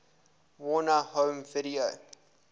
warner home video